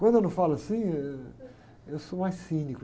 Quando eu não falo assim, eh, eu sou mais cínico.